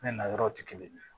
Ne na yɔrɔ ti kelen ye